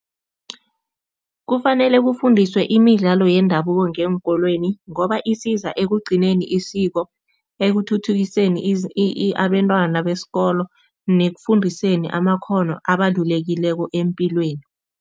Kufanele kufundiswe imidlalo yendabuko ngeenkolweni ngoba isiza ekugcineni isiko, ekuthuthukiseni abentwana besikolo nekufundiseni amakghono abalulekileko epilweni.